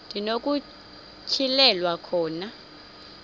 ndi nokutyhilelwa khona